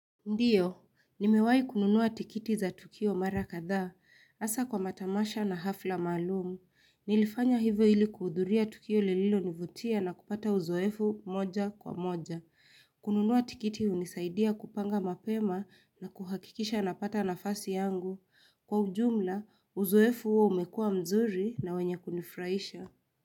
Ndiyo, nimewahi kununuwa tiketi za Tukio Mara kadha hasa kwa matamasha na hafla maalumu. Nilifanya hivyo ili kuhudhuria tukio lililo nivutia na kupata uzoefu moja kwa moja. Kununua tikiti hunisaidia kupanga mapema na kuhakikisha napata nafasi yangu. Kwa ujumla, uzoefu huo umekuwa mzuri na wenye kunifurahisha.